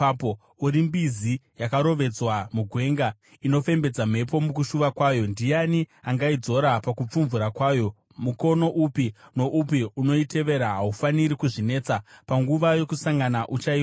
uri mbizi yakarovedzwa mugwenga, inofembedza mhepo mukushuva kwayo; ndiani angaidzora pakupfumvura kwayo? Mukono upi noupi unoitevera haufaniri kuzvinetesa; panguva yokusangana uchaiwana.